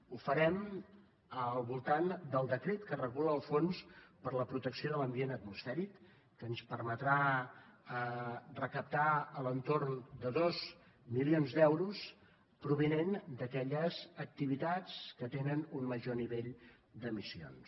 ho farem al voltant del decret que regula el fons per a la protecció de l’ambient atmosfèric que ens permetrà recaptar a l’entorn de dos milions d’euros provinents d’aquelles activitats que tenen un major nivell d’emissions